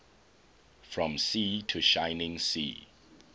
from sea to shining sea